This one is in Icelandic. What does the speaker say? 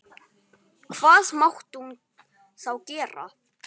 Hvað mátti hún þá gera?